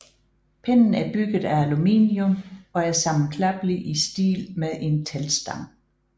Pinden er bygget af aluminium og er sammenklappelig i stil med en teltstang